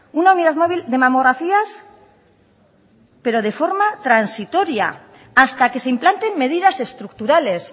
una unidad móvil de mamografías pero de forma transitoria hasta que se implanten medidas estructurales